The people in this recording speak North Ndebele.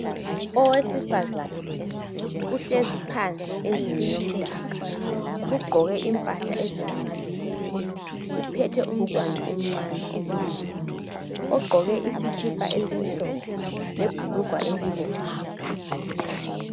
Owesifazana uhlezi phansi endlini yomdaka ugqoke impahla ezilamaluba uphethe umntwana omncane omunyayo. Ogqoke isikipa esimhlophe lebhurungwa elibomvu.